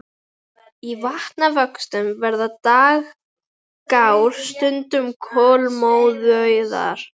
Í vatnavöxtum verða dragár stundum kolmórauðar.